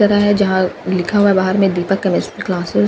जगह है जहां लिखा हुआ है बाहर में दीपक क्मेस्ट्री क्लासेस --